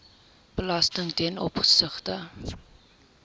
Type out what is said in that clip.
belasting ten opsigte